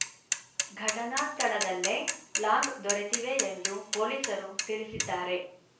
ಘಟನಾ ಸ್ಥಳದಲ್ಲೇ ಲಾಂಗ್ ದೊರೆತಿವೆ ಎಂದು ಪೊಲೀಸರು ತಿಳಿಸಿದ್ದಾರೆ